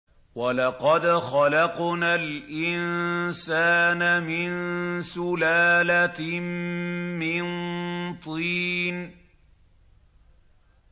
وَلَقَدْ خَلَقْنَا الْإِنسَانَ مِن سُلَالَةٍ مِّن طِينٍ